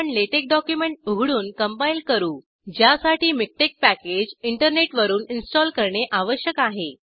आपण LaTeX document उघडून compile करू ज्यासाठी मिकटेक्स पॅकेज इंटरनेटवरून इंस्टॉल करणे आवश्यक आहे